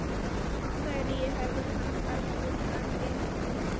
Hverju hefur hann bætt við argentínska liðið?